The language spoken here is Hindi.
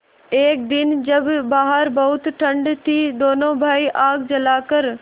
एक दिन जब बाहर बहुत ठंड थी दोनों भाई आग जलाकर